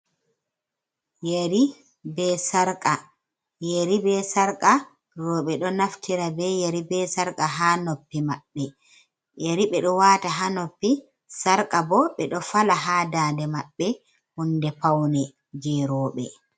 Yari be sarqa, yeri be sarqa roɓe ɗo naftira be yeri be sarqa ha noppi maɓɓe. Yeri ɓe ɗo wata ha noppi, sarqa bo ɓe ɗo fala ha dande maɓɓe hunde paune je roɓe.